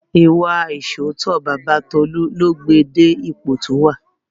Ìwà ìṣóòótọ́ Baba Tolu ló gbé e dé ipò tí ó wà